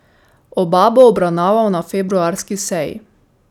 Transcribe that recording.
Oba bo obravnaval na februarski seji.